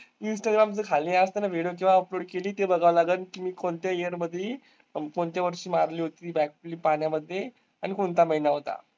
Instagram च्या खाली असताना video केव्हा upload केली ते बघावं लागंल की मी कोणत्या year मध्ये कोणत्या वर्षी मारली होती पाण्यामध्ये आणि कोणता महिना होता?